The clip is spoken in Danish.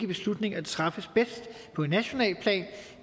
beslutninger der træffes bedst på et nationalt plan